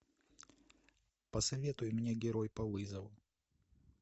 посоветуй мне герой по вызову